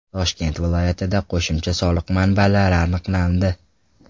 Toshkent viloyatida qo‘shimcha soliq manbalari aniqlandi.